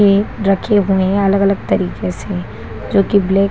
ये रखे हुए है अलग-अलग तरीके से जो कि ब्लैक --